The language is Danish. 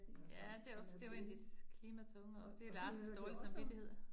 Ja, det også, det jo 1 af de klimatunge også, det Lars' dårlige samvittighed